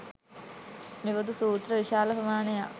මෙබඳු සූත්‍ර විශාල ප්‍රමාණයක්